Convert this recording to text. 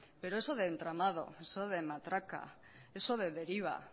pero eso de entramado eso de matraca eso de deriva